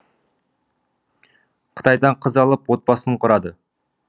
қытайдан қыз алып отбасын құрады